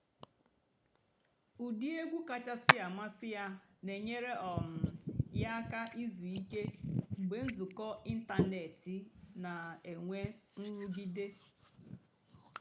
ụ́dị́ ègwú kàchàsị́ àmásị́ yá nà-ènyééré um yá àká ìzú ìké mg̀bé ǹzùkọ́ ị̀ntánétị́ nà-ènwé ǹrụ́gídé.